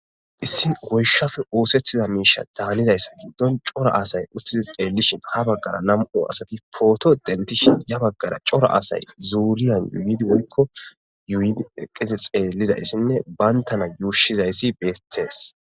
issi woyshafe ooseththiza miisha daanizayss giddon cora asay uttizi xeellishin ha baggara nam7o asati pooto dentishin ya baggara cora asay zuuriyan yuyidi woykko yuuyidi eqqize xeellizayssinne bayntana yuushizayssi beethees